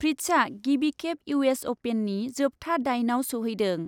फ्रिट्जआ गिबिखेब इउ एस अपेननि जोबथा दाइनआव सौहैदों।